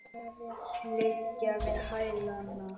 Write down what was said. Liggja við hælana.